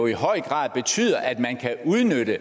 i høj grad betyder at man kan udnytte